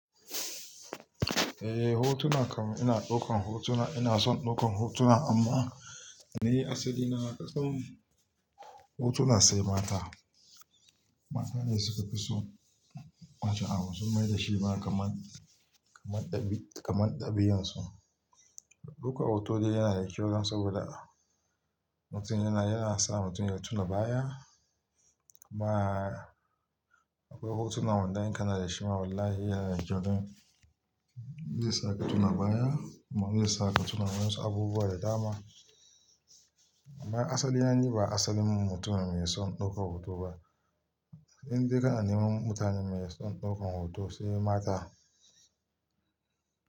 Eh hotuna kam ina ɗaukan hotuna, ina son ɗaukan hotuna amma ni asali na na ka san hotuna sai mata. Mata ne suka fi so, mata a wasu maida shi ba kamar, kamar ɗabi'a, kamar ɗabi'unsu. Ɗaukar hoto dai yana da kyau don saboda mutum yana, yana sa mutum ya tuna baya amma akwai hotuna wanda in kana da shi ma wallahi yana da kyau don, zai sa ka tuna baya kuma zai sa ka tuna waensu abubuwa da dama. Amma asali wani ba asalin mutum mai son ɗaukar hoto ba. Abin da yana yiwa mutane mai son ɗaukan hoto shine mata.